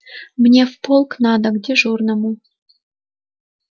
мне в полк надо к дежурному